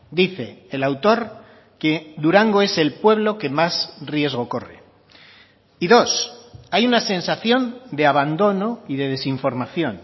dice el autor que durango es el pueblo que más riesgo corre y dos hay una sensación de abandono y de desinformación